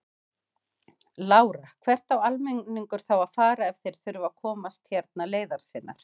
Lára: Hvert á almenningur þá að fara ef þeir þurfa að komast hérna leiðar sinnar?